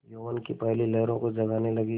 यौवन की पहली लहरों को जगाने लगी